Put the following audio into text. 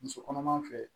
Muso kɔnɔma fɛ